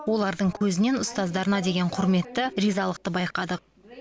олардың көзінен ұстаздарына деген құрметті ризалықты байқадық